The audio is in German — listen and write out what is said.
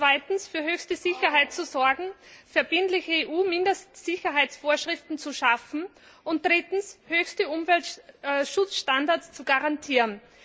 Zweitens, für höchste Sicherheit zu sorgen und verbindliche EU Mindestsicherheitsvorschriften zu schaffen, und drittens, höchste Umweltschutzstandards zu garantieren.